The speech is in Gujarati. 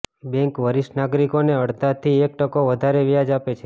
બેન્ક વરિષ્ઠ નાગરિકોને અડધાથી એક ટકો વધારે વ્યાજ આપે છે